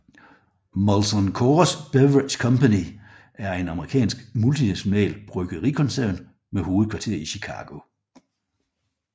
Molson Coors Beverage Company er en amerikansk multinational bryggerikoncern med hovedkvarter i Chicago